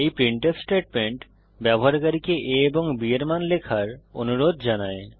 এই printf statement ব্যবহারকারীকে a এবং b এর মান লেখার অনুরোধ জানায়